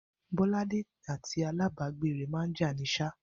Bó̩ládé àti alábàágbé rè̩ máa ń jà ni s̩á